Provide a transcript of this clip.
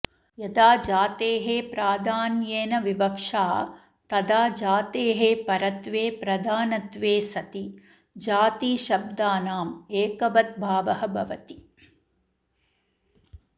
यदा जातेः प्राधान्येन विवक्षा तदा जातेःपरत्वे प्रधानत्वे सति जातिशब्दानाममेकवद्भावो भवति